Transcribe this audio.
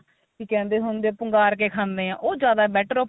ਕੀ ਕਹਿੰਦੇ ਹੁੰਦੇ ਪੂੰਗਾਰ ਕੇ ਖਾਂਦੇ ਏ ਉਹ ਜਿਆਦਾ better ਏ